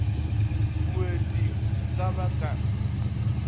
moeti hm ka ba ka